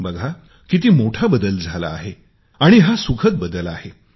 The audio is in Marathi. बघा किती मोठा बदल झाला आहे आणि हा सुखद बदल आहे